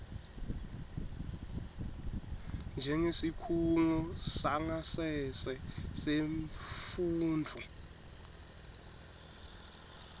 njengesikhungo sangasese semfundvo